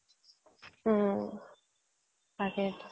হ'ম তাকে